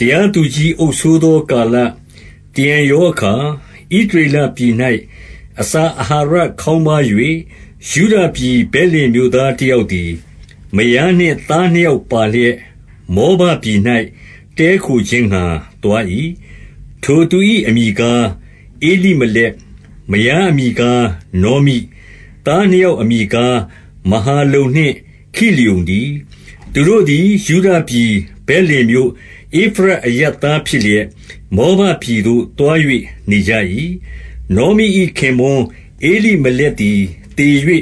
တရားသူကြီးအုပ်စိုးသောကာလ၊ တရံရောအခါဣသရေလပြည်၌ အစာအာဟာရခေါင်းပါး၍ယုဒပြည် ဗက်လင် မြို့သား တယောက်သည်၊ မယားနှင့်သားနှစ်ယောက်ပါလျက် မောဘပြည်၌ တည်းခိုခြင်းငှါ သွား၏။ 2 ထိုသူ၏အမည်ကား ဧလိမလက်။ မယားအမည်ကား နောမိ။ သားနှစ်ယောက်အမည်ကား မဟာလုန်နှင့် ခိလျုန်တည်း။ သူတို့သည်ယုဒပြည်၊ ဗက်လင်မြို့၊ ဧဖရတ်အရပ်သားဖြစ်လျက်၊ မောဘပြည်သို့သွား ၍နေကြ၏။ 3 နောမိ၏ခင်ပွန်းဧလိမလက်သည်သေ၍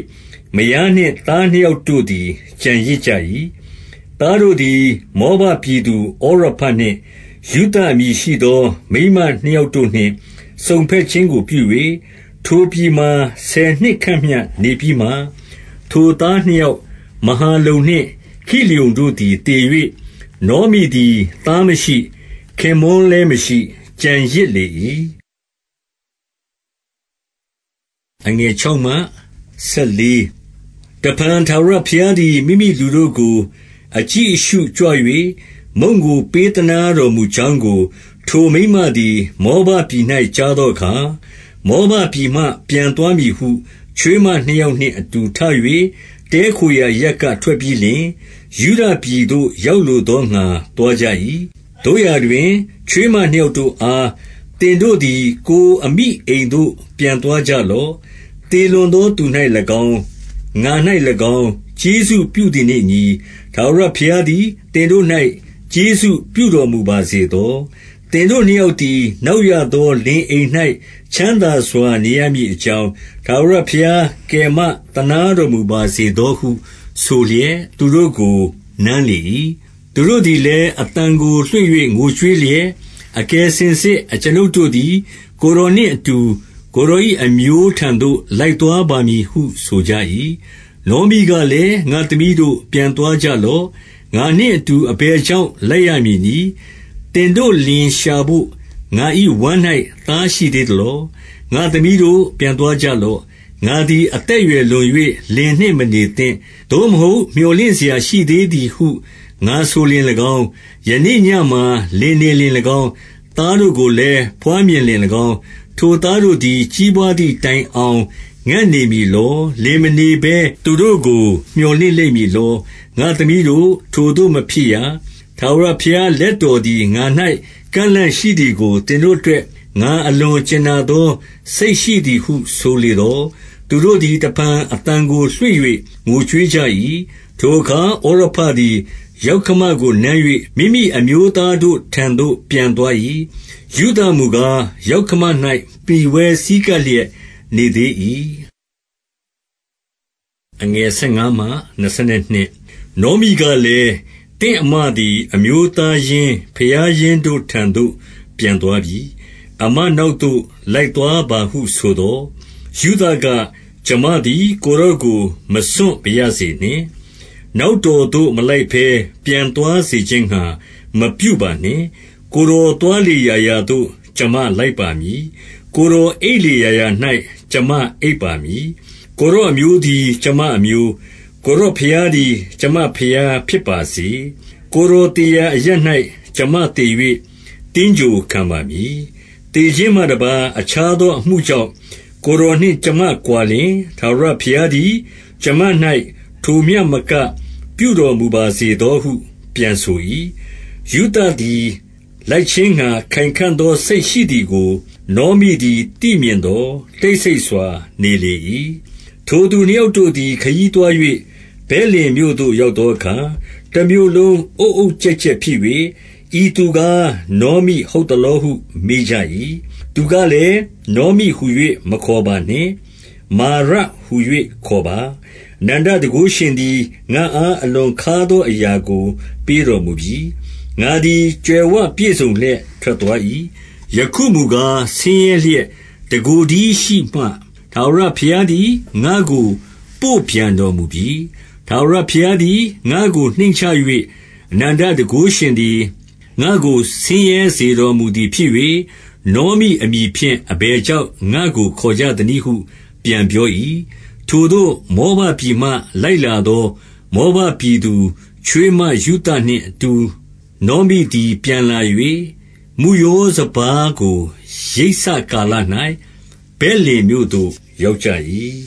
မယားနှင့်သားနှစ်ယောက်တို့သည် ကျန်ရစ်ကြ၏။ 4 သားတို့သည်မောဘပြည်သူဩရပနှင့်ရုသအမည်ရှိသော မိန်းမ နှစ်ယောက် တို့နှင့် စုံဘက်ခြင်းကိုပြု၍၊ ထိုပြည်မှာ ဆယ်နှစ်ခန့်မျှ နေပြီးမှ၊ 5 ထိုသားနှစ်ယောက် မဟာလုန်နှင့်ခိလျုန်တို့သည် သေ၍ နောမိသည်သားမရှိ၊ ခင်ပွန်းလည်းမရှိ ကျန်ရစ်လေ၏။ 6 တဖန်ထာဝရဘုရားသည်မိမိလူတို့ကိုအကြည့်အရှုကြွ၍ မုန့်ကိုပေးသနားတော်မူကြောင်းကို ထိုမိန်းမသည် မောဘပြည်၌ကြားသောအခါ၊ မောဘပြည်မှပြန်သွားမည်ဟု ချွေးမနှစ်ယောက်နှင့်အတူထ၍၊ 7 တည်းခိုရာအရပ်က ထွက်ပြီးလျှင် ယုဒပြည်သို့ရောက်လိုသောငှါသွားကြ၏။ 8 သို့ရာတွင် ချွေးမနှစ်ယောက်တို့အား၊ သင်တို့သည် ကိုယ်အမိအိမ်သို့ပြန်ကြလော့။ သေလွန်သောသူ၌ ၎င်း၊ ငါ၌၎င်း၊ ကျေးဇူးပြုသည်နှင့်အညီ၊ ထာဝရဘုရားသည် သင်တို့၌ ကျေးဇူးပြုတော်မူပါစေသော။ 9 သင်တို့နှစ်ယောက်သည် နောက်ရသောလင်အိမ်၌ချမ်းသာစွာနေရမည်အကြောင်း ထာဝရဘုရား ကယ်မသနားတော်မူပါစေသောဟုဆိုလျက်သူတို့ကို နမ်းလေ၏။ သူတို့သည်လည်း၊ အသံကိုလွှင့်၍ငိုကြွေး လျက်၊ 10 အကယ်စင်စစ်အကျွန်ုပ်တို့သည် ကိုယ်တော်နှင့်အတူ၊ ကိုယ်တော်၏ အမျိုးထံသို့ လိုက်သွားပါမည်ဟု ဆိုကြ၏။ 11 နောမိကလည်း၊ငါ့သမီးတို့ပြန်သွားကြလော့။ ငါနှင့်အတူအဘယ်ကြောင့် လိုက်ရမည်နည်း။ သင်တို့လင် လျှာဘို့ငါ၏ဝမ်း၌ သားရှိသေး သလော။ 12 ငါ့သမီးတို့ပြန်သွားကြလော့။ ငါသည်အသက်အရွယ်လွန်၍လင်နှင့်မနေသင့်။ သို့မဟုတ်မြော်လင့်စရာရှိ သေးသည်ဟုငါဆိုလျှင်၎င်း၊ ယနေ့ညမှာလင်နေလျှင်၎င်း၊ သားတို့ကိုလည်းဘွားမြင်လျှင်၎င်း၊ 13 ထိုသားတို့သည်ကြီးပွားသည်တိုင်အောင်ငံ့နေလိမ့်မည်လော။ လင်မနေဘဲသူတို့ကို မြော်လင့်လိမ့်မည် လော။ ငါ့သမီးတို့ထိုသို့မဖြစ်ရ။ ထာဝရဘုရား လက်တော်သည် ငါ၌ ကန့်လန့်ရှိသည်ကို သင်တို့အတွက် ငါအလွန်ကြင်နာသော စိတ်ရှိသည်ဟုဆိုလေသော်၊ 14 သူတို့သည်တဖန်အသံကိုလွှင့်၍ငိုကြွေးကြ၏။ ထိုအခါဩရပသည်ယောက္ခမကိုနမ်း၍မိမိအမျိုးသား တို့ထံသွားသို့ပြန်သွား၏။ ရုသမူကား၊ ယောက္ခမ၌မှီဝဲဆည်းကပ်လျက်နေသေး၏။ 15 နောမိကလည်း၊ သင့်အစ်မသည်အမျိုးသားရင်းဘုရားရင်းတို့ထံသို့ပြန်သွားပြီ။ အစ်မနောက်သို့ လိုက်သွားပါဟုဆိုသော်၊ 16 ရုသက၊ ကျွန်မသည် ကိုယ်တော်ကိုမစွန့်ပါရစေနှင့်။ နောက်တော်သို့မလိုက်ဘဲ ပြန်သွားစေခြင်းငှါ မပြုပါနှင့်။ ကိုယ်တော်သွားလေရာရာသို့ကျွန်မလိုက်ပါမည်။ ကိုယ်တော်အိပ်လေရာရာ၌ကျွန်မအိပ်ပါမည်။ ကိုယ်တော်အမျိုးသည် ကျွန်မအမျိုး၊ ကိုယ်တော်ဘုရားသည်ကျွန်မဘုရားဖြစ်ပါစေ။ 17 ကိုယ်တော်သေရာအရပ်၌ ကျွန်မသေ၍ သင်္ဂြိုဟ်ခံပါမည်။ သေခြင်းမှတပါး၊ အခြားသောအမှုကြောင့် ကိုယ်တော်နှင့်ကျွန်မကွာလျှင်၊ ထာဝရဘုရားသည် ကျွန်မ၌ထိုမျှမကပြုတော် မူပါစေသောဟုပြန်ဆို၏။ 18 ရုသသည်လိုက်ခြင်းငှါခိုင်ခံ့သောစိတ်ရှိသည်ကိုနောမိသည်သိမြင်သော်တိတ်ဆိတ်စွာနေလေ၏။ 19 ထိုသူနှစ်ယောက်တို့သည်ခရီးသွား၍ဗက်လင်မြို့သို့ရောက်သောအခါ၊ တမြို့လုံးအုတ်အုတ်ကျက်ကျက် ဖြစ်၍၊ ဤသူကားနောမိ ဟုတ်သလောဟုမေးကြ၏။ 20 သူကလည်းနောမိဟူ၍ မခေါ်ပါနှင့်။ မာရဟူ၍ခေါ်ပါ။ အနန္တတန်ခိုးရှင်သည် ငါ့အားအလွန် ခါးသောအရာကိုပေးတော်မူပြီ။ 21 ငါသည်ကြွယ်ဝပြည့်စုံလျက်ထွက်သွား၏။ ယခုမူကားဆင်းရဲလျက် တကိုယ်တည်းရှိမှ၊ ထာဝရဘုရား သည် ငါ့ကိုပို့ပြန်တော်မူပြီ။ ထာဝရဘုရားသည်ငါ့ကိုနှိမ့်ချ၍အနန္တတန်ခိုးရှင်သည် ငါ့ကိုဆင်းရဲစေတော်မူသည် ဖြစ်၍၊ နောမိအမည်ဖြင့်အဘယ်ကြောင့် ငါ့ကိုခေါ်ကြသနည်းဟု ပြန်ပြော၏။ 22 ထိုသို့မောဘပြည်မှ လိုက်လာသော မောဘပြည်သူချွေးမရုသနှင့်အတူနောမိသည်ပြန်လာ၍၊ မုယော စပါးကိုရိတ်စကာလ၌ဗက်လင်မြို့သို့ရောက်ကြ၏။